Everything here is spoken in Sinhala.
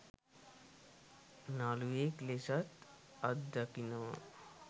නළුවෙක් ලෙසත් අත්දකිනවා..